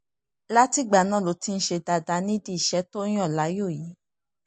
látìgbà náà ló sì ti ń ṣe dáadáa nídìí iṣẹ́ tó yàn láàyò yìí